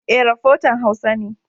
E, rafotan Hausa ne.